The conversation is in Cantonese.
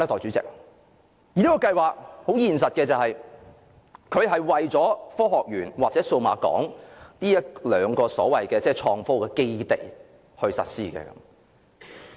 這個計劃很現實的，是為了科技園公司和數碼港這一兩個所謂創科基地而實施的。